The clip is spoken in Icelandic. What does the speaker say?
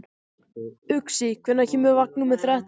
Uxi, hvenær kemur vagn númer þrettán?